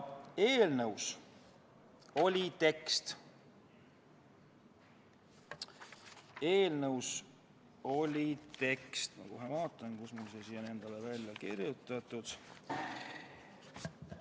Eelnõus oli tekst – ma kohe vaatan, kus mul see välja on kirjutatud.